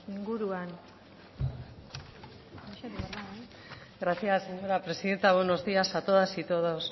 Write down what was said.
inguruan gracias señora presidenta buenos días a todas y todos